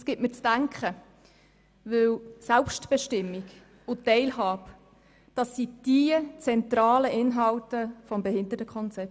Es gibt mir zu denken, denn Selbstbestimmung und Teilhabe sind die zentralen Inhalte des Behindertenkonzepts.